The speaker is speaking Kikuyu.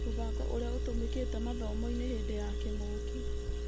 Mũbango ũrĩa ũtũmĩkĩte mathomo-inĩ hĩndĩ ya kĩng'ũki